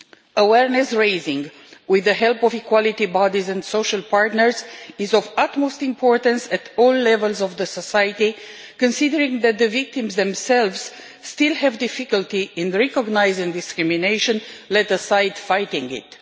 Awareness raising, with the help of equality bodies and the social partners, is of utmost importance at all levels of society considering that the victims themselves still have difficulty in recognising discrimination, let alone fighting it.